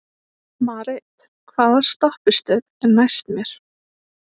Marit, hvaða stoppistöð er næst mér?